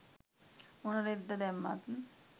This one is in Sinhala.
මොන රෙද්ද දැම්මත්